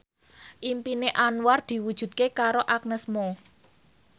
impine Anwar diwujudke karo Agnes Mo